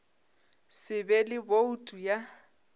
se be le boutu ya